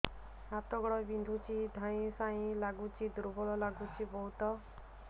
ହାତ ଗୋଡ ବିନ୍ଧୁଛି ଧଇଁସଇଁ ଲାଗୁଚି ଦୁର୍ବଳ ଲାଗୁଚି ବହୁତ